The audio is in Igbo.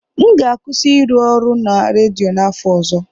M ga-akwụsị ịrụ ọrụ na redio n'afọ ọzọ.